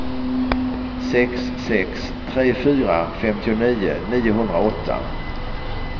sex sex tre fyra femtionio niohundraåtta